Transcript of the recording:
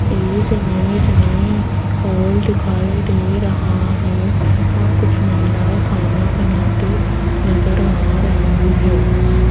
इस इमेज में हॉल दिखाई दे रहा है और कुछ महिलाएं खाना बनाती नजर आ रही है।